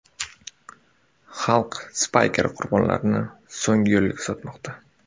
Xalq Spayker qurbonlarini so‘nggi yo‘lga kuzatmoqda.